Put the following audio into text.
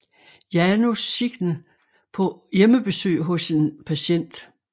Janus Signe på hjemmebesøg hos en patient